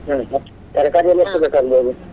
ಹ್ಮ್ ಮತ್ತೆ ತರ್ಕಾರಿಯೆಲ್ಲ ಬೇಕಾಗ್ಬೋದು?